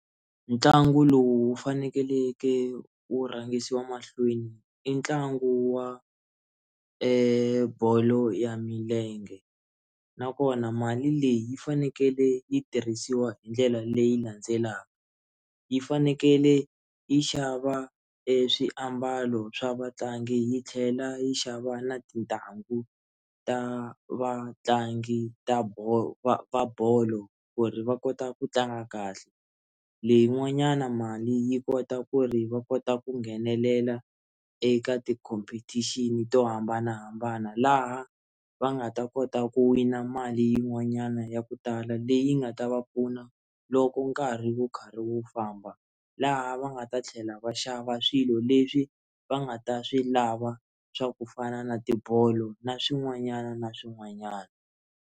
Ntlangu lowu fanekeleke u rhangisiwa mahlweni i ntlangu wa bolo wa milenge nakona mali leyi yi fanekele yi tirhisiwa hi ndlela leyi landzelaka yi fanekele yi xava eswiambalo swa vatlangi yi tlhela yi xava na tintangu ta vatlangi va bolo va va bolo ku ri va kota ku tlanga kahle leyi n'wanyana mali yi kota ku ri va kota ku nghenelela eka ti-competition to hambanahambana laha va nga ta kota ku wina mali yin'wanyana ya ku tala leyi nga ta va pfuna loko nkarhi wo karhi wo famba laha va nga ta tlhela va xava swilo leswi va nga ta swi lava swa ku fana na tibolo na swin'wanyana na swin'wanyana.